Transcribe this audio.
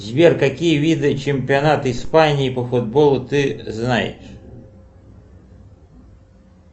сбер какие виды чемпионата испании по футболу ты знаешь